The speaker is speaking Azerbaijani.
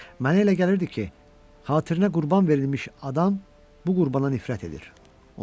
Mənə elə gəlirdi ki, xatirinə qurban verilmiş adam bu qurbana nifrət edir.